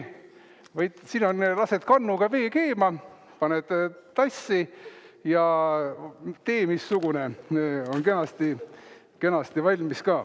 Lased kannuga vee keema, paned selle tassi, ja tee missugune on kenasti valmis!